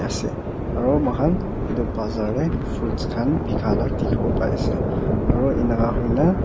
ase aro moikhan etu bazaar de fruits khan bikai la dikhi bo pare ase aro eneka hoi na.